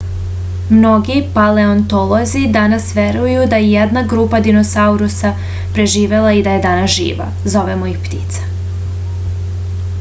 mnogi paleontolozi danas veruju da je jedna grupa dinosaurusa preživela i da je danas živa zovemo ih ptice